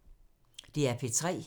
DR P3